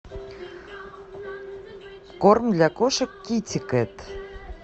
корм для кошек китикет